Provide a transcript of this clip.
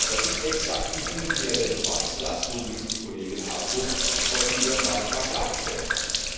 Das ist exakt die Umkehr der Beweislast, so wie es die Kollegin Herczog vorhin in ihrem Beitrag dargestellt hat.